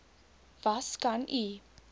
was kan u